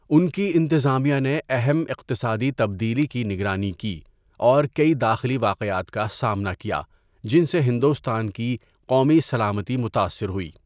ان کی انتظامیہ نے اہم اقتصادی تبدیلی کی نگرانی کی اور کئی داخلی واقعات کا سامنا کیا جن سے ہندوستان کی قومی سلامتی متاثر ہوئی۔